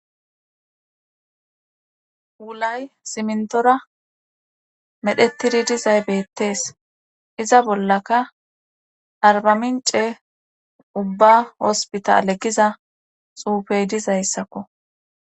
Wulay simintora medhdhettidi dizay beettees iza bollaka arbamince ubba hospitale giza xuufey dizayssakko